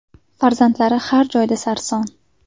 Farzandlari har joyda sarson.